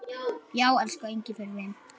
Já, elsku Engifer minn.